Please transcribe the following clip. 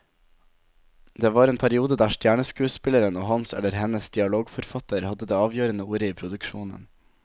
Det var en periode der stjerneskuespilleren og hans eller hennes dialogforfatter hadde det avgjørende ordet i produksjonen.